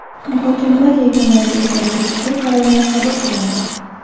Muhokamalar yakunlariga ko‘ra tegishli qarorlar qabul qilindi.